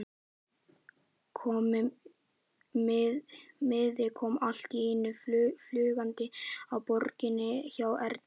Miði kom allt í einu fljúgandi á borðið hjá Erni.